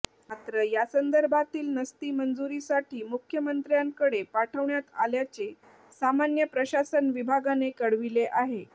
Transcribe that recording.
मात्र यासंदर्भातील नस्ती मंजुरीसाठी मुख्यमंत्र्यांकडे पाठवण्यात आल्याचे सामान्य प्रशासन विभागाने कळविले आहे